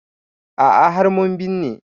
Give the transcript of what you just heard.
A'a har mun binne ta